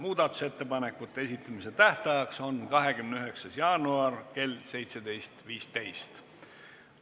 Muudatusettepanekute esitamise tähtajaks on 29. jaanuar kell 17.15.